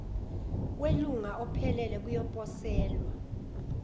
welunga ophelele kuyoposelwa